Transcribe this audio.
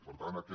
per tant aquest